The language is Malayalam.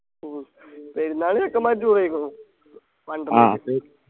ഉം പെരുന്നാള് ചെക്കമ്മാര് അടിപൊളിയായിക്ക്ണു